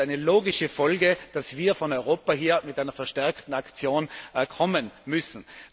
Es ist eine logische Folge, dass wir von Europa her mit einer verstärkten Aktion kommen müssen.